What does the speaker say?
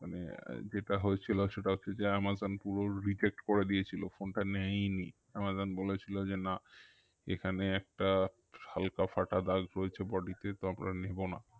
মানে যেটা হয়েছিল সেটা হচ্ছে যে আমাজন পুরো reject করে দিয়েছিলো phone টা নেয়নি আমাজন বলেছিলো যে না এখানে একটা হালকা ফাটা দাগ রয়েছে body তে তো আমরা নেবো না